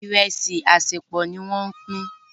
Iresi asepọ ní wón Pin.